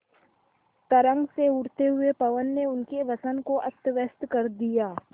तरंग से उठते हुए पवन ने उनके वसन को अस्तव्यस्त कर दिया